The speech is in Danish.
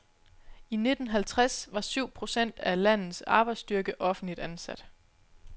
I nitten halvtreds var syv procent af landets arbejdsstyrke offentligt ansat.